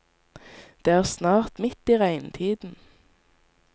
Det er snart midt i regntiden.